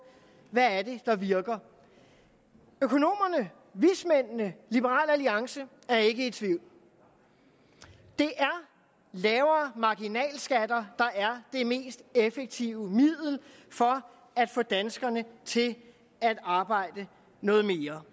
hvad er det der virker økonomerne vismændene liberal alliance er ikke i tvivl det er lavere marginalskatter der er det mest effektive middel for at få danskerne til at arbejde noget mere